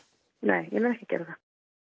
nei ég mun ekki gera